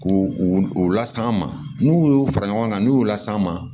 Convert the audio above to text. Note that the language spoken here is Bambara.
K'u u las'an ma n'u y'u fara ɲɔgɔn kan n'u y'u las'an ma